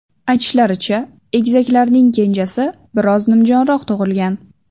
Aytishlaricha, egizaklarning kenjasi biroz nimjonroq tug‘ilgan.